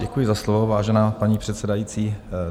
Děkuji za slovo, vážená paní předsedající.